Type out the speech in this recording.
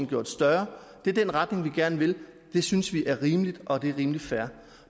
gjort større det er den retning vi gerne vil i det synes vi er rimeligt og rimelig fair